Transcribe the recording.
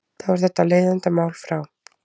Þá er þetta leiðindamál frá.